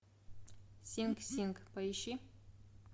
синг синг поищи